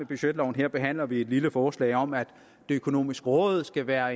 budgetloven her behandler vi et lille forslag om at det økonomiske råd skal være